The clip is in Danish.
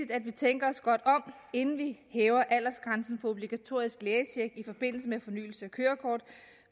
at vi tænker os godt om inden vi hæver aldersgrænsen for obligatorisk lægetjek i forbindelse med fornyelse af kørekort